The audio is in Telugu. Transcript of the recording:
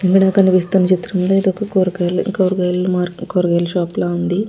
ఇక్కడ కనిపిస్తున్న చిత్రంలో ఇదొక కూరగాయలు కూరగాయలు మార్క్ కూరగాయల షాపు లా ఉంది.